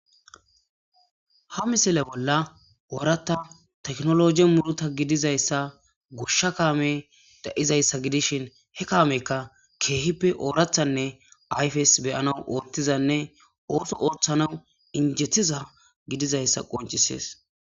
Ha misile bolla ooratta teknologi muruta gidizayssa goshsha kaame da'izayssa gidishin he kaamekka keehippe oorathanne ayfes beyanaw oottizanne ooso ooththanaw injettiza gidizayssa qoncisees.